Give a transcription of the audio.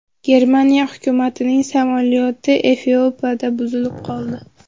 Germaniya hukumatining samolyoti Efiopiyada buzilib qoldi.